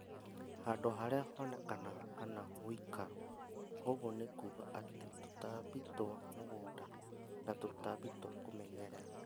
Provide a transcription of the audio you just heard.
Handũ harĩa honekanaga kana woikaro, ũguo nĩkuga atĩ tũtambi twa mũgũnda na tũtambi twa kũmenyerera